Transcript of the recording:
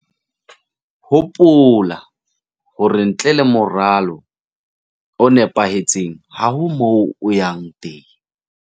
Hopola hore ntle le moralo o nepahetseng ha ho moo o yang teng!